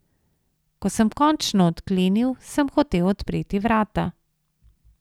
Ko sem končno odklenil, sem hotel odpreti vrata.